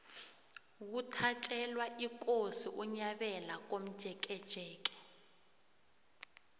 kuthatjelwa ikosi unyabela komjekejeke